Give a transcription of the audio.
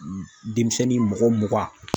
Denmisɛnnin mɔgɔ mugan